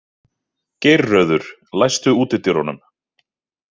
Geirröður, læstu útidyrunum.